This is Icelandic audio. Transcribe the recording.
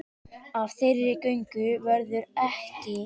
Af þeirri göngu verður ekki.